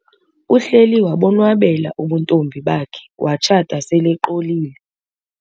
Uhleli wabonwabela ubuntombi bakhe watshata seleqolile.